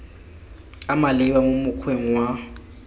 a maleba mo mokgweng wa